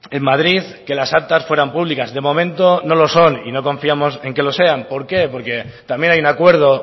en madrid que las actas fueran públicas de momento no lo son y no confiamos en que lo sean por qué porque también hay un acuerdo